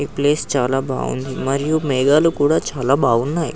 ఈ ప్లేస్ చాల బాగువుంది మరియు మేఘాలు కూడా చాల బాగున్నాయ్.